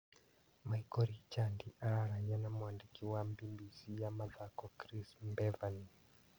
Miko Richandi araragia na mwandĩki wa Mbimbisi ya mathako Kris Mbevani.